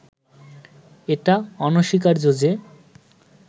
এটা অনস্বীকার্য যে